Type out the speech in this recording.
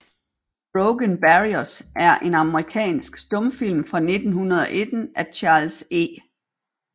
Broken Barriers er en amerikansk stumfilm fra 1919 af Charles E